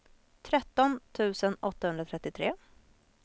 tretton tusen åttahundratrettiotre